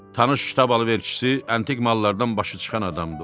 Tanış kitab alverçisi antik mallardan başı çıxan adamdır.